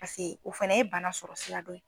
o fana ye bana sɔrɔ sira dɔ ye.